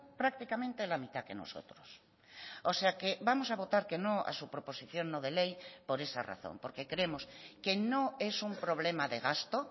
prácticamente la mitad que nosotros o sea que vamos a votar que no a su proposición no de ley por esa razón porque creemos que no es un problema de gasto